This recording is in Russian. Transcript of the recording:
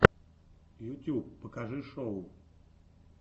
ютуб покажи шоу